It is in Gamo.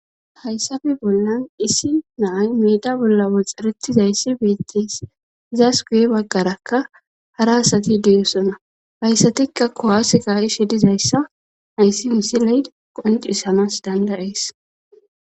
hayssafe bollan issi naay meda bolla woxarettizayssi beettis zaasuguye baggarakka hara asati deeyosona hayssatikka kowaaseka ishe dizayssa hayssi hissi leyd qonci samas dandayees